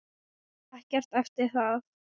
Og ekkert eftir það.